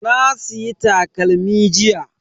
Na siya takalmi jiya.